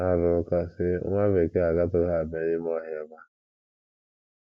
Ha rụrụ ụka, sị, “ Nwa Bekee agatụghị abịa n’ime ọhịa ebe a. ”